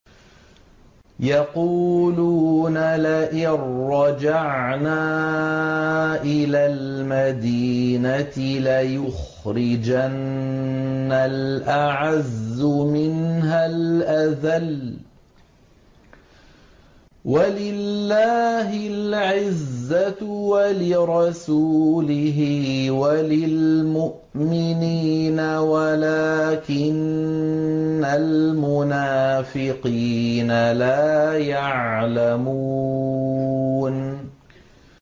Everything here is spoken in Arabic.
يَقُولُونَ لَئِن رَّجَعْنَا إِلَى الْمَدِينَةِ لَيُخْرِجَنَّ الْأَعَزُّ مِنْهَا الْأَذَلَّ ۚ وَلِلَّهِ الْعِزَّةُ وَلِرَسُولِهِ وَلِلْمُؤْمِنِينَ وَلَٰكِنَّ الْمُنَافِقِينَ لَا يَعْلَمُونَ